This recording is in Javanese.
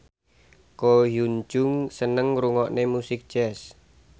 Ko Hyun Jung seneng ngrungokne musik jazz